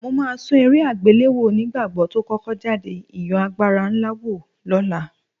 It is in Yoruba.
Mo máa tún eré àgbéléwò onígbàgbọ́ tó kọ́kọ́ jáde, ìyẹn Agbára Ńlá wò lọ́la